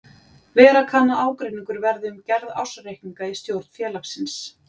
Vera kann að ágreiningur verði um gerð ársreikninga í stjórn félagsins.